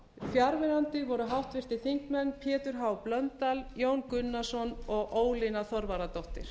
fjarverandi voru háttvirtir þingmenn pétur h blöndal jón gunnarsson og ólína þorvarðardóttir